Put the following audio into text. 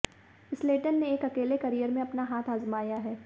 स्लेटन ने एक अकेले करियर में अपना हाथ आजमाया है